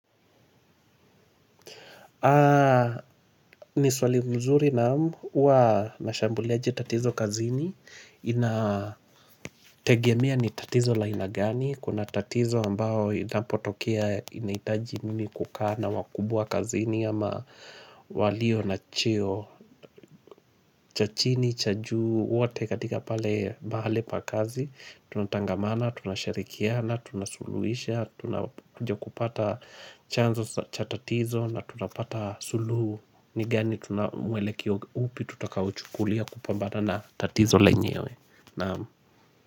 Ni swali mzuri naam huwa ninashambuliaje tatizo kazini. Inategemea ni tatizo la aina gani. Kuna tatizo ambayo inapotokea inahitaji mimi kukaa na wakubwa kazini ama walio na cheo cha chini, cha juu, wote katika pale mahali pa kazi. Tunatangamana, tunashirikiana, tunasuluhisha tunakuja kupata. Chanzo cha tatizo na tunapata sulu. Ni gani tunamwelekeo upi tutakao uchukulia kupamba na tatizo lenyewe, naam.